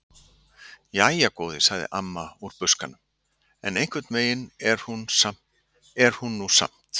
Jæja góði, segir amma úr buskanum: En einhvern veginn er hún nú samt.